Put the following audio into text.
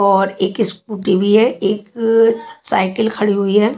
और एक स्कूटी भी है एक साइकिल खड़ी हुई है।